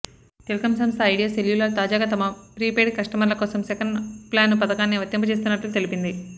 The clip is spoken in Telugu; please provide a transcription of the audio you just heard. టెలికం సంస్థ ఐడియా సెల్యూలార్ తాజాగా తమ ప్రిపెయిడ్ కష్టమర్ల కోసం సెకన్ ప్లాను పథకాన్ని వర్తింపజేస్తున్నట్లు తెలిపింది